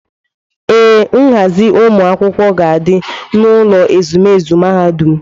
Ee, nghazi ụmụ akwụkwọ ga-adị n'ụlọ ezumezu mahadum.